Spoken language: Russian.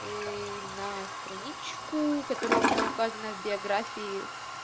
и на страничку которая у меня указана в биографии